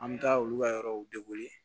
An bɛ taa olu ka yɔrɔw